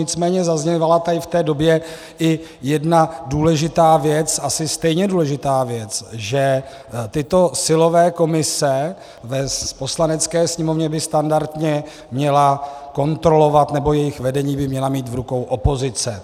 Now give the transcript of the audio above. Nicméně zaznívala tady v té době i jedna důležitá věc, asi stejně důležitá věc, že tyto silové komise v Poslanecké sněmovně by standardně měla kontrolovat, nebo jejich vedení by měla mít v rukou opozice.